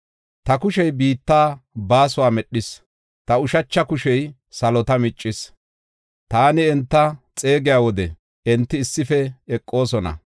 Ta kushey biitta baasuwa medhis; ta ushacha kushey salota miccis. Taani enta xeegiya wode enti issife eqoosona.